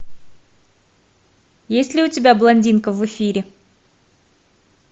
есть ли у тебя блондинка в эфире